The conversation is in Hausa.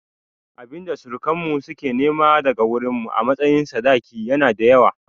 Abinda surukan mu suka nema daga wurin mu a matsayin sadaki yana da yawa